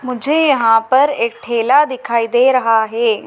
मुझे यहां पर एक ठेला दिखाई दे रहा है।